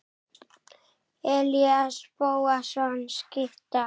Elías Bóasson skytta.